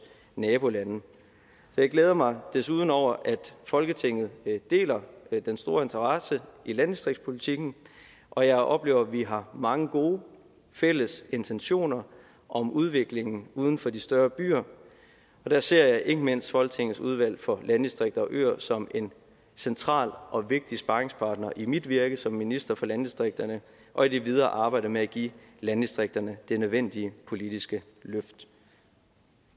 nabolande jeg glæder mig desuden over at folketinget deler den store interesse i landdistriktspolitikken og jeg oplever at vi har mange gode fælles intentioner om udviklingen uden for de større byer og der ser jeg ikke mindst folketingets udvalg for landdistrikter og øer som en central og vigtig sparringspartner i mit virke som minister for landdistrikterne og i det videre arbejde med at give landdistrikterne det nødvendige politiske løft